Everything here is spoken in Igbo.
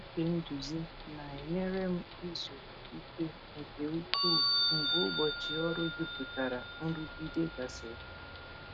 Ịtụ uche nduzi na-enyere m izu ike nke ukwuu mgbe ụbọchị ọrụ jupụtara nrụgide gasịrị.